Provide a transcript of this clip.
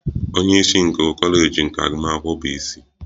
Onye isi nke kọleji nke agụmakwụkwọ bụ isi.